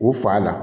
U fa la